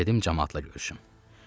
Mən gedim camaatla görüşüm.